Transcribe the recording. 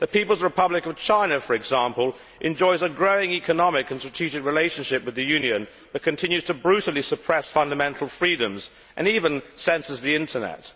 The People's Republic of China, for example, enjoys a growing economic and strategic relationship with the Union, but continues to brutally suppress fundamental freedoms and even censors the Internet.